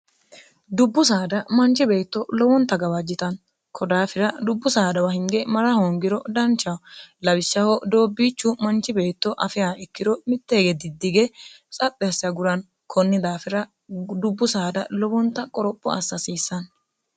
dubbu saada manchi beetto lowonta gawaajjitanno kodaafira dubbu saadawa hinge mara hoongiro dancha lawishshaho doobbiichu manchi beetto afea ikkiro mittee geddidige tsaphersagurani konni daafira dubbu saada lowonta qoropho assihasiissanni